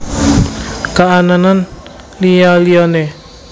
Kaanan Liya liyane